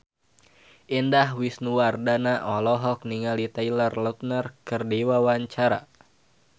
Indah Wisnuwardana olohok ningali Taylor Lautner keur diwawancara